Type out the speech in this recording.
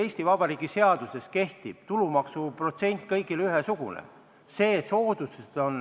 Eesti Vabariigi seaduses kehtib kõigile ühesugune tulumaksuprotsent.